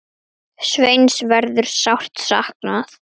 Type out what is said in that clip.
Sveins verður sárt saknað.